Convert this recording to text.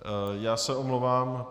Já se omlouvám.